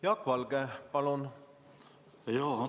Jaak Valge, palun!